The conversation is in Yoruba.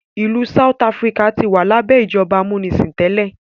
ilú south Africa tí wà labẹ ìjọba amunisin tẹlẹ.